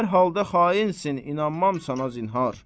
Hər halda xainsin, inanmam sənə zinhar.